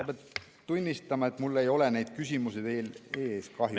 Pean tunnistama, et mul ei ole neid küsimusi ees kahjuks.